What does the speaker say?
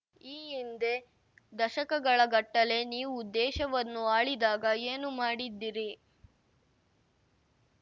ಈ ಹಿಂದೆ ದಶಕಗಳ ಗಟ್ಟಲೆ ನೀವು ದೇಶವನ್ನು ಆಳಿದಾಗ ಏನು ಮಾಡಿದ್ದಿರಿ